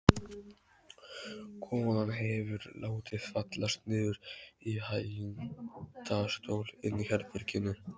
Konan hefur látið fallast niður í hægindastól inni í herberginu.